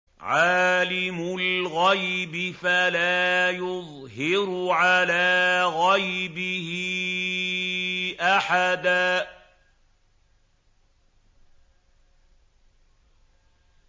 عَالِمُ الْغَيْبِ فَلَا يُظْهِرُ عَلَىٰ غَيْبِهِ أَحَدًا